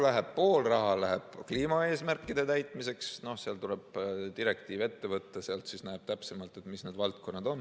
Praegu pool raha läheb kliimaeesmärkide täitmiseks – tuleb direktiiv ette võtta, sealt näeb täpsemalt, mis need valdkonnad on.